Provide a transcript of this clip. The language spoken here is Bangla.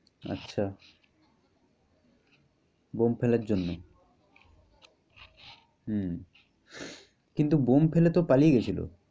আচ্ছা। বোম্ব ফেলার জন্যে? হম কিন্তু বোম্ব ফেলে তো পালিয়ে গেছিলো।